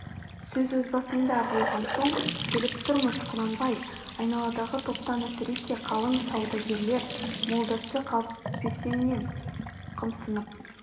сөз өз басыңда болған соң келіп тұрмыз құнанбай айналадағы топтан әсресе қаланың саудагерлер молдасы қаліпеснен қымсынып